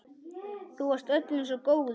Þú varst öllum svo góður.